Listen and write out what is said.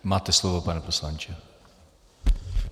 Máte slovo, pane poslanče.